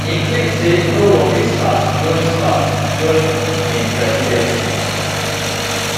im claim say no war bin start during start during im presidency